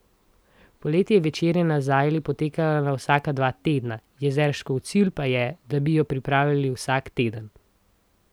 Poleti je večerja na zajli potekala na vsaka dva tedna, Jezerškov cilj pa je, da bi jo pripravljali vsak teden.